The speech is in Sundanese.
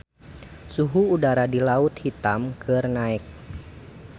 Suhu udara di Laut Hitam keur naek